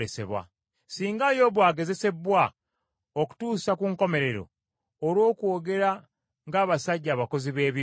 Singa Yobu agezesebbwa okutuusa ku nkomerero, olw’okwogera ng’abasajja abakozi b’ebibi!